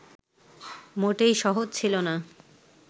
মোটেই সহজ ছিল না